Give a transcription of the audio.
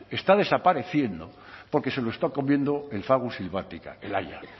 está desapareciendo porque se lo está comiendo el fagus sylvatica el haya